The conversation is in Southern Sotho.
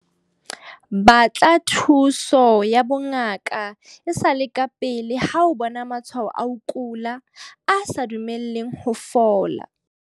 Batla thuso ya bongaka e sa le kapele ha o bona matshwao a ho kula a sa dumeleng ho fola.